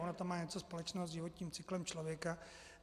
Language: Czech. Ono to má něco společného s životním cyklem člověka.